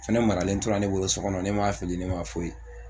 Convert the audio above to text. Fɛnɛ maralen tora ne bolo sɔ kɔnɔ yen ne m'a fili ne ma fo ye